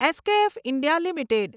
SKF India limited